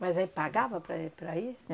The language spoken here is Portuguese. Mas aí pagava para eh para ir?